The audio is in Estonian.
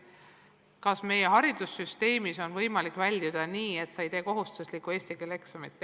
Kas meie haridussüsteemis saab põhikooli lõpetada nii, et sa ei tee kohustuslikku eesti keele eksamit?